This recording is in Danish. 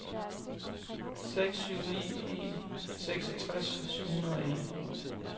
seks syv ni en seksogtres syv hundrede og en